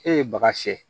E ye baga fiyɛ